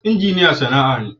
Injiniya sana'a ne.